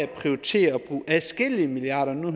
prioritere at bruge adskillige milliarder nu